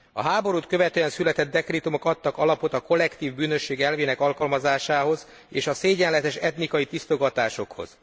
A háborút követően született dekrétumok adtak alapot a kollektív bűnösség elvének alkalmazásához és a szégyenletes etnikai tisztogatásokhoz.